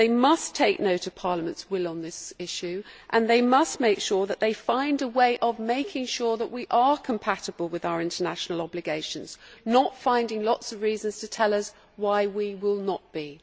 They must take note of Parliament's will on this issue and they must make sure that they find a way of making sure that we are compatible with our international obligations, not finding lots of reasons to tell us why we will not be.